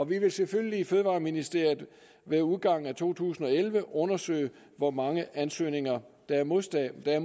vi vil selvfølgelig i fødevareministeriet ved udgangen af to tusind og elleve undersøge hvor mange ansøgninger der er modtaget vi er